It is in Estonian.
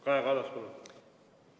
Kaja Kallas, palun!